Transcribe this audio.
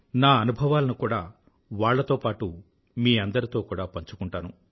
నా అనుభవాలను కూడా వాళ్లతో పాటూ మీ అందరితో కూడా పంచుకుంటాను